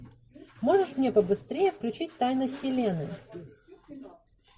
можешь мне побыстрее включить тайны вселенной